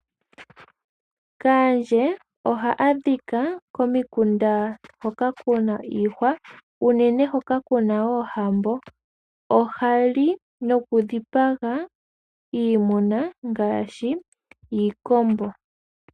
Kaandje oha adhika komikunda hoka kuna iihwa unene hoka kuna oohambo, ohali noku dhipaga iimuna ngaashi iikombo.